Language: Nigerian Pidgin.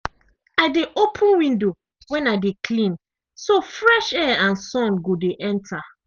i dey open window when i dey clean so fresh air and sun go dey enter.